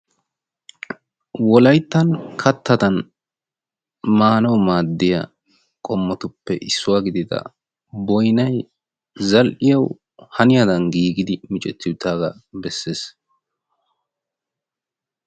Wolaytta kattadan maanawu boynnay zal'iyawu haniyaday miccettiddi beetees.